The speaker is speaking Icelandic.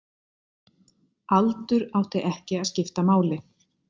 Aldur átti ekki að skipta máli.